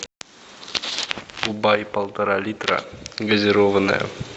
кубай полтора литра газированная